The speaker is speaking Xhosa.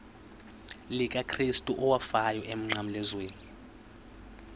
likakrestu owafayo emnqamlezweni